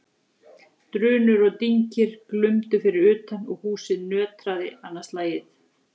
Drunur og dynkir glumdu fyrir utan og húsið nötraði annað slagið.